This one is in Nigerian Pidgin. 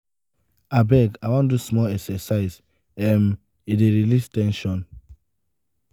abeg i wan do small exercise um e dey release ten sion."